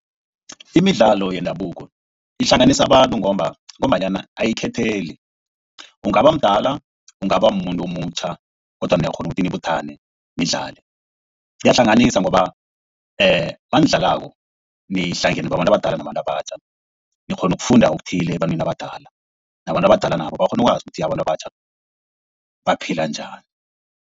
Imidlalo yendabuko ihlanganisa abantu ngombanyana ayikhetheli. Ungaba mdala, ungaba mumuntu omutjha kodwana niyakghona ukuthi nibuthane nidlale. Iyahlanganisa ngoba nanidlalako lihlangene babantu abadala nabatjha. Nikghona ukufunda okuthile ebantwini abadala nabantu abadala nabo bakghona ukwazi ukuthi abantu abatjha baphila njani.